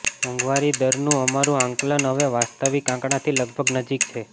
મોંઘવારી દરનું અમારૂ આંકલન હવે વાસ્તવિક આંકડાથી લગભગ નજીક છે